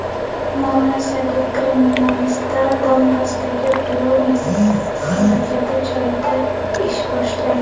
Malayziyalik kriminalistlar Donbassdagi Boeing halokati joyida ish boshlaydi.